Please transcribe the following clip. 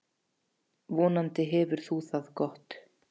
Vonandi hefur þú það gott.